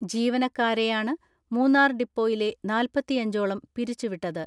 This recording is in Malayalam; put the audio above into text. ജീവനക്കാരെയാണ് മൂന്നാർ ഡിപ്പോയിലെ നാൽപ്പത്തിയഞ്ചോളം പിരിച്ചുവിട്ടത്.